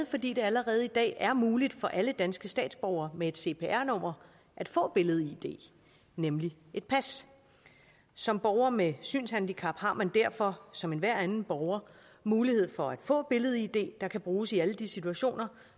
fordi det allerede i dag er muligt for alle danske statsborgere med et cpr nummer at få billed id nemlig et pas som borger med synshandicap har man derfor som enhver anden borger mulighed for at få billed id der kan bruges i alle de situationer